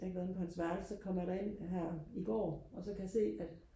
jeg har ikke været inde på hans værelse så kommer jeg derind her i går og så kan jeg se at